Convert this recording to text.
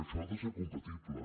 això ha de ser compatible